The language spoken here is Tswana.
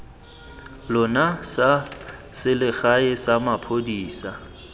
lona sa selegae sa maphodisa